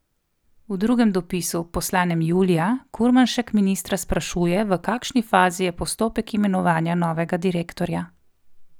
V drugem dopisu, poslanem julija, Kurmanšek ministra sprašuje, v kakšni fazi je postopek imenovanja novega direktorja.